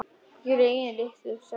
Greyin litlu sagði Tóti.